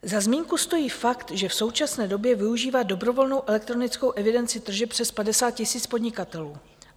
Za zmínku stojí fakt, že v současné době využívá dobrovolnou elektronickou evidenci tržeb přes 50 000 podnikatelů.